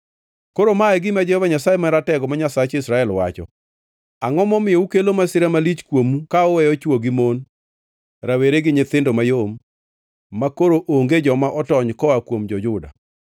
“Koro ma e gima Jehova Nyasaye Maratego, ma Nyasach Israel, wacho: Angʼo momiyo ukelo masira malich kuomu ka uweyo chwo gi mon, rawere gi nyithindo mayom, makoro onge joma otony koa kuom jo-Juda?